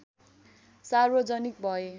सार्वजनिक भए